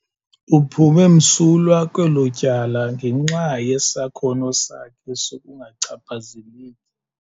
Uphume msulwa kwelo tyala ngenxa yesakhono sakhe sokungachaphazeleki.